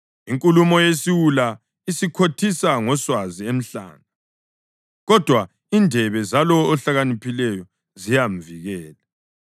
Inkulumo yesiwula isikhothisa ngoswazi emhlane, kodwa indebe zalowo ohlakaniphileyo ziyamvikela.